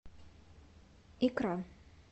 икра